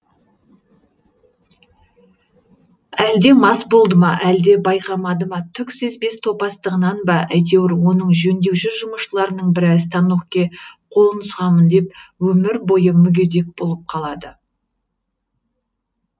әлде мас болды ма әлде байқамады ма түк сезбес топастығынан ба әйтеуір оның жөндеуші жұмысшыларының бірі станокке қолын сұғамын деп өмір бойы мүгедек болып қалады